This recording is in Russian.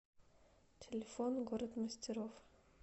телефон город мастеров